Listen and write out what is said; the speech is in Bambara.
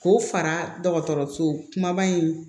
K'o fara dɔgɔtɔrɔso kumaba in